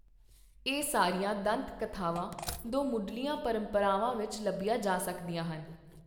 ਇਹ ਸਾਰੀਆਂ ਦੰਤ ਕਥਾਵਾਂ ਦੋ ਮੁੱਢਲੀਆਂ ਪਰੰਪਰਾਵਾਂ ਵਿੱਚ ਲੱਭੀਆਂ ਜਾ ਸਕਦੀਆਂ ਹਨ।